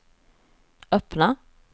öppna